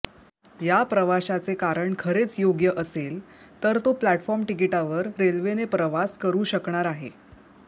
या प्रवाशाचे कारण खरेच योग्य असेल तर तो प्लॅटफॉर्म तिकिटावर रेल्वेने प्रवास करू शकणार आहे